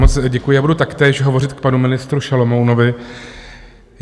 Moc děkuji a budu taktéž hovořit k panu ministru Šalomounovi.